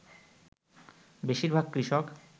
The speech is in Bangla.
বেশীরভাগ কৃষক